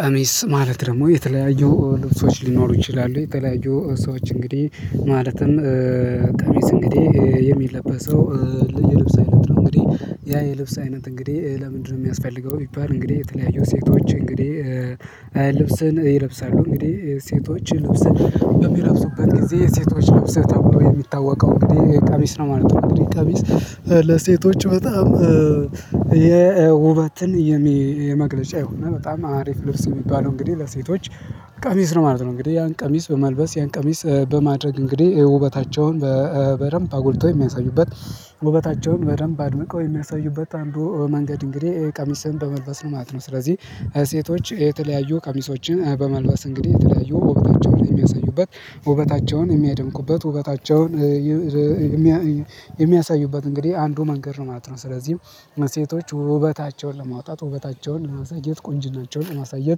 ቀሚስ ማለት ደግሞ የተለያዩ ልብሶች ሊኖሩ ይችላሉ የተለያዩ ሰዎች እንግዲህ ማለትም ቀሚስ እንግዲህ የሚለበሰው የልብስ አይነት ነው እንግዲህ ያ የልብስ አይነት እንግዲህ ለምንድነው የሚያስፈልገው ቢባል እንግዲህ የተለያዩ ሴቶች እንግዲህ ልብስን ይለብሳሉ እንግዲህ ሴቶች ልብስን የሚለብሱበት ጊዜ ሴቶች ለብሰት ተብሎ የሚታወቀው እንግዲህ ቀሚስ ነው ማለት ነው። እንግዲህ ቀሚስ ለሴቶች በጣም የውበትን የመግለጫ የሆነ በጣም አሪፍ ልብስ የሚባለው እንግዲህ ለሴቶች ቀሚስ ነው ማለት ነው እንግዲህ ያን ቀሚስ በመልበስ ያን ቀሚስ በማድረግ እንግዲህ ውበታቸውን በ በደንብ አጎልተው የሚያሳዩበት ውበታቸውን በደንብ አድምቀው የሚያሳዩበት አንዱ መንገድ እንግዲህ ቀሚስህን በመልበስ ነው ማለት ነው። ስለዚህ ሴቶች የተለያዩ ቀሚሶችን በመልበስ እንግዲህ የተለያዩ ውበታቸውን የሚያሳዩበት ውበታቸውን የሚያደንቁበት ውበታቸውን የሚያሳዩበት እንግዲህ አንዱ መንገድ ነው ማለት ነው። ስለዚህም ሴቶች ውበታቸውን ለማውጣት ውበታቸውን ለማሳየት ቁንጅናቸውን ለማሳየት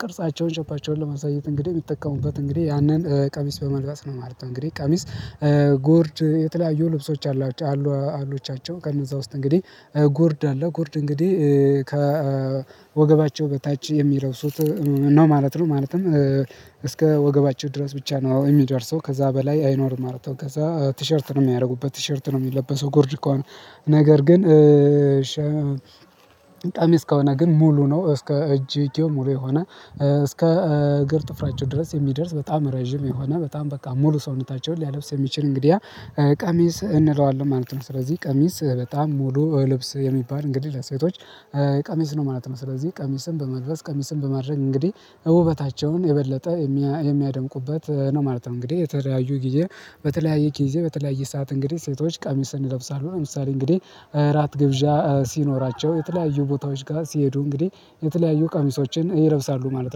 ቅርጻቸውን ሸፔቸውን ለማሳየት እንግዲህ የሚጠቀሙበት እንግዲህ ያንን ቀሚስ በመልበስ ነው ማለት ነው። እንግዲህ ቀሚስ ጎርድ የተለያዩ ልብሶች አሏቸው አሉ አሉቻቸው ከነዛ ውስጥ እንግዲህ ጎርድ አለ ጎርድ እንግዲህ ከወገባቸው በታች የሚለብሱት ነው ማለት ነው ማለትም እስከ ወገባቸው ድረስ ብቻ ነው የሚደርሰው ከዛ በላይ አይኖርም ማለት ነዉ። ከዛ ቲሸርት ነው የሚያደረጉበት ቲሸርት ነው የሚለበሰው ጎርድ ከሆነ ነገር ግን ቀሚስ ከሆነ ግን ሙሉ ነው እስከ እጅጌው ሙሉ የሆነ እስከ እግር ጥፍራቸው ድረስ የሚደርስ በጣም ረጅም የሆነ በጣም በቃ ሙሉ ሰውነታቸውን ሊያለብስ የሚችል እንግዲህ ቀሚስ እንለዋለን ማለት ነው ስለዚህ ቀሚስ በጣም ሙሉ ልብስ የሚባል እንግዲህ ለሴቶች ቀሚስ ነው ማለት ነው ስለዚህ ቀሚስን በመልበስ ቀሚስን በማድረግ እንግዲህ ውበታቸውን የበለጠ የሚያደምቁበት ነው ማለት ነው እንግዲህ የተለያዩ ጊዜ በተለያየ ግዜ በተለያየ ሰዓት እንግዲህ ሴቶች ቀምስን ይለብሳሉ። ለምሳሌ እንግዲህ እራት ግብዣ ሲኖራቸው የተለያዩ ቦታዎች ጋር ሲሄዱ እንግዲህ የተለያዩ ቀሚሶችን ይለብሳሉ ማለት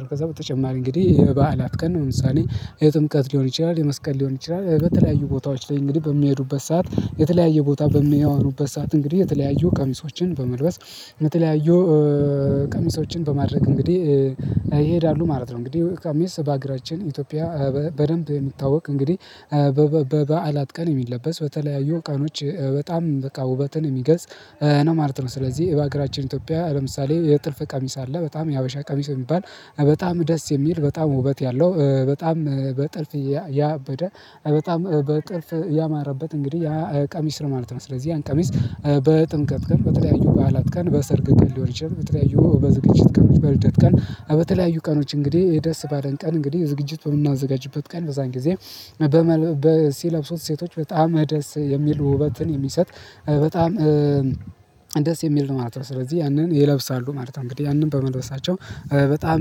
ነው። ከዛ በተጨማሪ እንግዲህ የበዓላት ቀን ለ ምሳሌ የጥምቀት ሊሆን ይችላል የመስቀል ሊሆን ይችላል በተለያዩ ቦታዎች ላይ እንግዲህ በሚሄዱበት ሰዓት የተለያየ ቦታ በሚያወሩበት ሰዓት እንግዲህ የተለያየ ቀሚሶችን በመልበስ የተለያዩ ቀሚሶችን በማድረግ እንግዲህ ይሄዳሉ ማለት ነው። እንግዲህ ቀምስ በአግራችን ኢትዮጵያ በደንብ የምታወቅ እንግዲህ በበ በበዓላት ቀን የሚለበስ በተለያዩ ቀኖች በጣም በቃ ውበትን የሚገልጽ ነው ማለት ነው ስለዚህ በሀገራችን ኢትዮጵያ ለምሳሌ የጥልፍ ቀሚስ አለ በጣም የሀበሻ ቀሚስ የሚባል በጣም ደስ የሚል በጣም ውበት ያለው በጣም በጥልፍ ያበደ በጣም በጥልፍ ያማረበት እንግዲህ ያ ቀሚስ ነው ማለት ነው ስለዚህ ያን ቀሚስ በጥምቀት ቀን በተለያዩ በዓላት ቀን በሰርግ ቀን ሊሆን ይችላል በተለያዩ በዝግጅት ቀን በልደት ቀን በተለያዩ ቀኖች እንግዲህ ደስ ባለን ቀን እንግዲህ ዝግጅት የምናዘጋጅበት ቀን በዛን ጊዜ በ ሲለብሱት ሴቶች በጣም ደስ የሚል ውበትን የሚሰጥ በጣም ደስ የሚል ነው ማለት ነው። ስለዚህ ያንን ይለብሳሉ ማለት ነው እንግዲህ ያንን በመልበሳቸው በጣም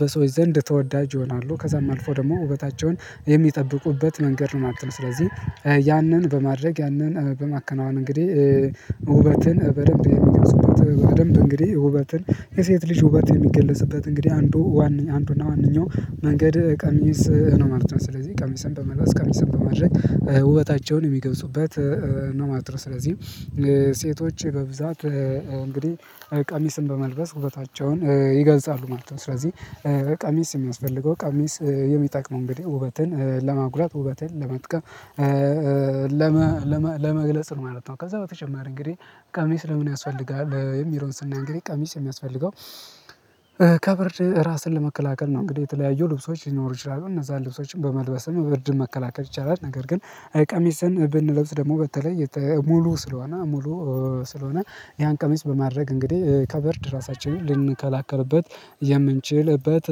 በሰዎች ዘንድ ተወዳጅ ይሆናሉ ከዛም አልፎ ደግሞ ውበታቸውን የምጠብቁበት መንገድ ነው ማለት ነው ስለዚህ ያንን በማድረግ ያንን በማከናወን ማከናወን እንግዲህ ውበትን በደንብ የሚገልጹበት በደንብ እንግዲህ ውበትን የሴት ልጅ ውበት የሚገለጽበት እንግዲህ አንዱ ዋና አንዱና ዋንኛው መንገድ ቀሚስ ነው ማለት ነው። ስለዚህ ቀሚስን በመልበስ ቀምስን በማድረግ ውበታቸውን የሚገልጹበት ነው ማለት ነው ስለዚህ ሴቶች የበብዛት እንግዲህ ቀሚስን በመልበስ ውበታቸውን ይገልፃሉ ማለት ነው። ስለዚህ ቀሚስ የሚያስፈልገው ቀሚስ የሚጠቅመው እንግዲህ ውበትን ለማጉላት ውበትን ለመጥቀም ለመግለጽ ነው ማለት ነው ከዛ በተጨማሪ እንግዲህ ቀሚስ ለምን ያስፈልጋል የሚለዉን ስናይ እንግዲህ ቀሚስ የሚያስፈልገው ከበ ራስን ለመከላከል ነው እንግዲህ የተለያዩ ልብሶች ሊኖሩ ይችላሉ እነዛን ልብሶችን በመልበስ ብርድን መከላከል ይቻላል። ነገር ግን ቀሚስን ብንለብስ ደግሞ በተለይ ሙሉ ስለሆነ ሙሉ ስለሆነ ያን ቀሚስ በማድረግ እንግዲህ ከብርድ ራሳችንን ልንከላከልበት የምንችልበት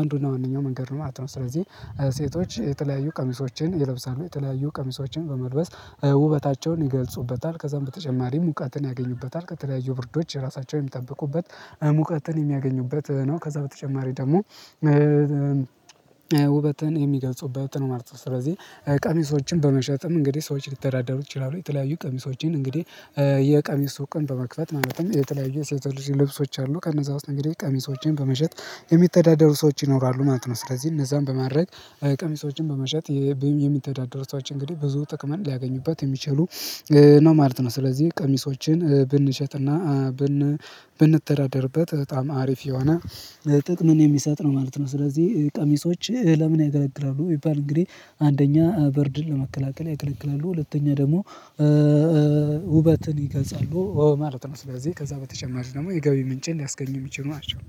አንዱ አና ዋነኛው መንገድ ነው ማለት ነው። ስለዚህ ሴቶች የተለያዩ ቀሚሶችን የለብሳሉ የተለያዩ ቀሚሶችን በመልበስ ውበታቸውን ይገልጹበታል። ከዛም በተጨማሪ ሙቀትን ያገኙበታል ከተለያዩ ብርዶች ራሳቸውን የምትጠብቁበት ሙቀትን የሚያገኙበት ነው ከዛ በተጨማሪ ደግሞ ውበትን የሚገልጹበት ነው ማለት ነው። ስለዚህ ቀሚሶችን በመሸጥም እንግዲህ ሰዎች ሊተዳደሩ ይችላሉ። የተለያዩ ቀሚሶችን እንግዲህ የቀሚስ ሱቅን በመክፈት ማለትም የተለያዩ ሴቶች ልብሶች አሉ ከነዛ ውስጥ እንግዲህ ቀሚሶችን በመሸጥ የሚተዳደሩ ሰዎች ይኖራሉ ማለት ነው ስለዚህ እነዛን በማድረግ ቀሚሶችን በመሸጥ የምተዳደሩ ሰዎች እንግዲህ ብዙ ጥቅም ሊያገኙበት የሚችሉ ነው ማለት ነው። ስለዚህ ቀሚሶችን ብንሸጥና ብንተዳደርበት በጣም አሪፍ የሆነ ጥቅም የሚሰጥ ነው ማለት ነው። ስለዚህ ቀሚሶች ለምን ያገለግላሉ ቢባል እንግዲህ አንደኛ በርድን ለመከላከል ያገለግላሉ ሁለተኛ ደግሞ ውበትን ይገልፃሉ ማለት ነው ስለዚህ ከዛ በተጨማሪ ደግሞ የገቢ ምንጭን ሊያስገኙ የሚችሉ ናቸው።